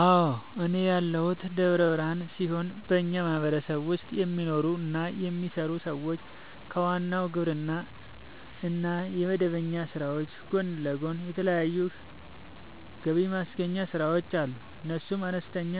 አዎ፤ እኔ ያለሁት ደብረ ብርሃን ሲሆን በኛ ማህበረሰብ ውስጥ የሚኖሩ እና የሚሰሩ ሰዎች ከዋናው የግብርና እና የመደበኛ ስራዎች ጎን ለጎን የተለያዩ ገብማስገኛ ስራዎች አሉ፤ እነሱም፦ አነስተኛ